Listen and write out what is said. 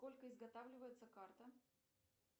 сколько изготавливается карта